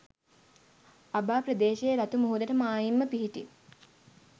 අබා ප්‍රදේශයේ රතු මුහුදට මායිම්ව පිහිටි